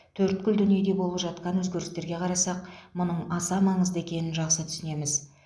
төрткүл дүниеде болып жатқан өзгерістерге қарасақ мұның аса маңызды екенін жақсы түсінеміз